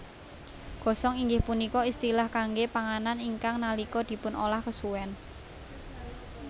Gosong inggih punika istilah kangge panganan ingkang nalika dipunolah kesuwen